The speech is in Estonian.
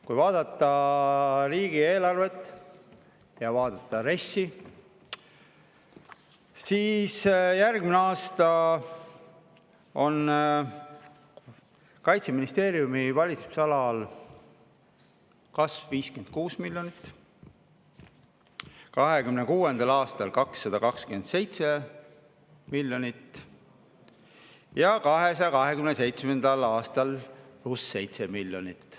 Kui vaadata riigieelarvet ja RES‑i, siis järgmisel aastal on Kaitseministeeriumi valitsemisalas kasv 56 miljonit, 2026. aastal 227 miljonit ja 2027. aastal on pluss 7 miljonit.